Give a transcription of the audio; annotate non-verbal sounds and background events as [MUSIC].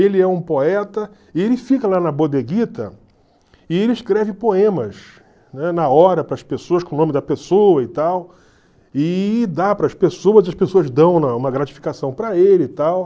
Ele é um poeta, e ele fica lá na bodeguita, e ele escreve poemas, né, na hora, para as pessoas, com o nome da pessoa e tal, e dá para as pessoas, e as pessoas dão [UNINTELLIGIBLE] uma gratificação para ele e tal.